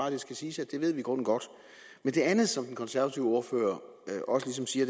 at det skal siges at det ved vi i grunden godt men det andet som den konservative ordfører også ligesom siger